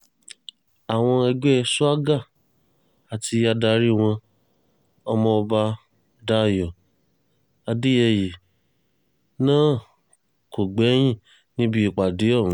àwọn ẹgbẹ́ swaga àti adarí wọn ọmọọba dayọ̀ adéyẹyè náà kò gbẹ́yìn níbi ìpàdé ọ̀hún